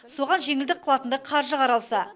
соған жеңілдік қылатындай қаржы қаралса